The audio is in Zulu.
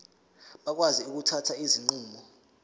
bakwazi ukuthatha izinqumo